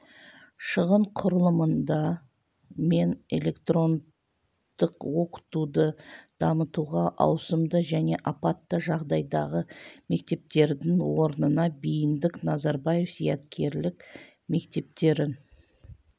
шығын құрылымында мен электрондық оқытуды дамытуға ауысымды және апатты жағдайдағы мектептердің орнына бейіндік назарбаев зияткерлік мектептерін